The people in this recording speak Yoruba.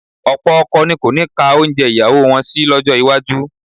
Ọ̀pọ̀ ọkọ ni kò ní ka oúnjẹ ìyàwó wọn sí lọ́jọ́ iwájú